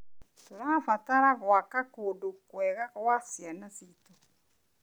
Tũrabatara gwaka kũndũ kwega gwa ciana ciitũ.